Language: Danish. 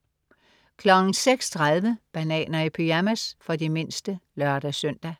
06.30 Bananer i pyjamas. For de mindste (lør-søn)